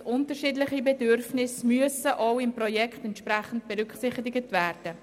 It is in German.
Unterschiedliche Bedürfnisse müssen im Projekt entsprechend berücksichtigt werden.